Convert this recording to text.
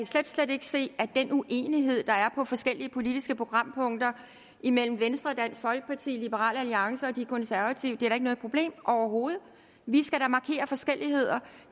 slet slet ikke se at den uenighed der er forskellige politiske programpunkter imellem venstre dansk folkeparti liberal alliance og de konservative er noget problem overhovedet vi skal da markerer forskelligheder